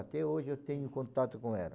Até hoje eu tenho contato com ela.